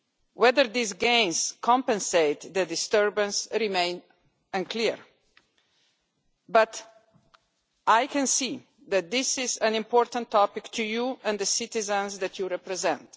Whether these gains compensate for the disturbance remains unclear, but I can see that this is an important topic for you and the citizens that you represent.